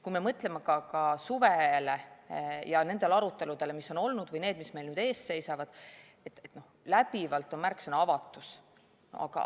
Kui me mõtleme ka suvele ja nendele aruteludele, mis on olnud, või nendele, mis meil ees seisavad, siis läbivalt on märksõna "avatus".